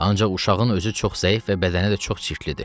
Ancaq uşağın özü çox zəif və bədəni də çox çirklidir.